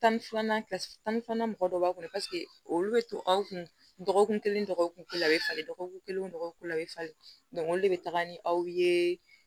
Tan ni filanan tan mɔgɔ dɔ b'a kɔnɔ paseke olu bɛ to aw kun dɔgɔkun kelen dɔgɔkun kelen a bɛ falen dɔgɔkun kelen dɔgɔkun a bɛ falen olu de bɛ taga ni aw ye